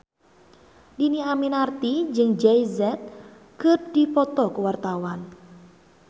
Dhini Aminarti jeung Jay Z keur dipoto ku wartawan